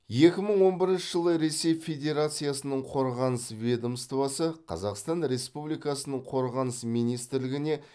екі мың он бірінші жылы ресей федерациясының қорғаныс ведомствосы қазақстан республикасының қорғаныс министрлігіне